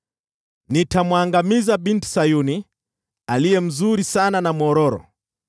Nitamwangamiza Binti Sayuni, aliye mzuri sana na mwororo.